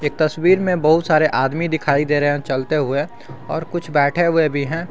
तस्वीर में बहुत सारे आदमी दिखाई दे रहे हैं चलते हुए और कुछ बैठे हुए भी हैं।